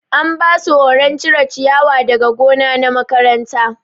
An basu horon cire ciyawa daga gona na makaranta.